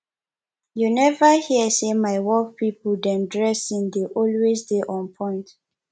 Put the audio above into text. you neva hear sey my work pipo dem dressing dey always dey onpoint